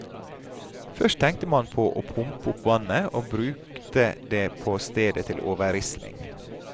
Først tenkte man på å pumpe opp vannet og brukte det på stedet til overrisling.